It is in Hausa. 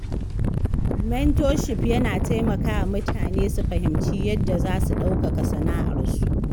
Mentorship yana taimakawa mutane su fahimci yadda za su ɗaukaka sana’arsu.